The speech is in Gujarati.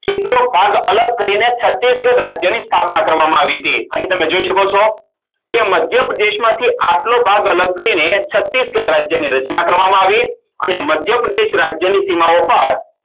કેટલો ભાગ અલગ કરીને છતીગઢ રાજ્યની સ્થાપના કરવામાં આવી હતી અને તમે જોય શકો છો કે મધ્યપ્રદેશમાંથી આટલો ભાગ અલગ કરીને છત્તીસગઢ રાજ્યની રચના કરવામાં આવી અને મધ્યપ્રદેશ રાજ્યની સીમાઓ પર